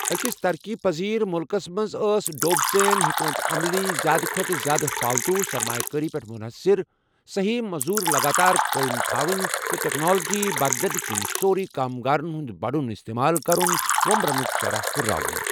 اكِس طرقی پزیر مُلكس منز ٲس ڈوب سین حیكمت عملی زیادٕ كھوتہٕ زیادٕ فالتوُ سرمایہ كٲری پیٹھ مُنحصر ، سہی مزوُرِ لگاتار قٲیم تھونہِ تہٕ تكنالجی بدلن كِنہِ سورُے كامگارن ہُند بڈُن استمال كرُن ، ومبرنُك شرح ہُرراوُن ۔